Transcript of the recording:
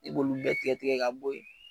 I b'olu bɛɛ tigɛ tigɛ ka bo yen.